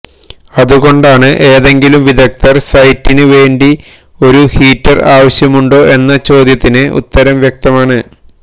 അതുകൊണ്ടാണ് ഏതെങ്കിലും വിദഗ്ദ്ധർക്ക് സൈറ്റിന് വേണ്ടി ഒരു ഹീറ്റർ ആവശ്യമുണ്ടോ എന്ന ചോദ്യത്തിന് ഉത്തരം വ്യക്തമാണ്